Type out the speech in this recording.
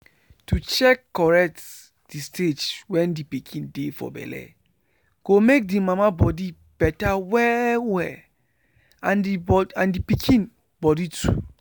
to check correct the stage wen the pikin dey for belle go make the mama body better well well and the pikin body too.